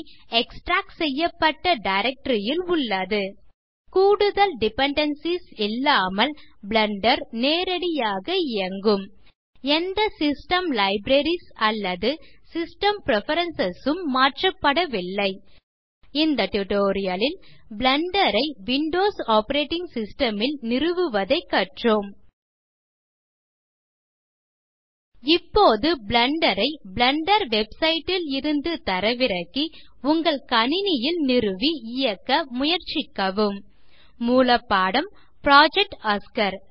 extract செய்யப்பட்ட directory ல் உள்ளது கூடுதல் டிபெண்டன்சிஸ் இல்லாமல் பிளெண்டர் நேரடியாக இயங்கும் எந்த சிஸ்டம் லைப்ரரீஸ் அல்லது சிஸ்டம் பிரெஃபரன்ஸ் உம் மாற்றப்படவில்லை இந்த டியூட்டோரியல் லில் பிளெண்டர் ஐ விண்டோஸ் ஆப்பரேட்டிங் சிஸ்டம் ல் நிறுவுவதைக் கற்றோம் இப்போது பிளெண்டர் ஐ பிளெண்டர் வெப்சைட் ல் இருந்து தரவிறக்கி உங்கள் கணினியில் நிறுவி இயக்க முயற்சிக்கவும் மூலப்பாடம் புரொஜெக்ட் ஒஸ்கார்